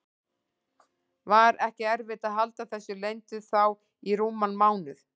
Var ekki erfitt að halda þessu leyndu þá í rúman mánuð?